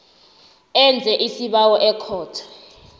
enze isibawo ekhotho